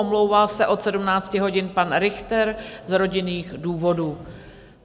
Omlouvá se od 17 hodin pan Richter z rodinných důvodů.